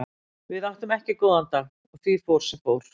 Við áttum ekki góðan dag og því fór sem fór.